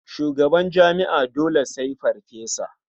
Shugaban jami'a dole sai farfesa.